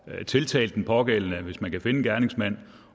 tiltalt den pågældende hvis man kan finde gerningsmanden